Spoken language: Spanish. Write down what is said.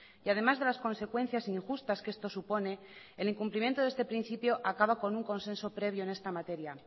y además de las consecuencias injustas que esto supone el incumplimiento de este principio acaba con un consenso previo en esta materia